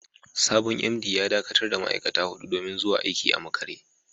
Sabon MD ya dakatar da ma’aikata hudu domin zuwa aiki a makare.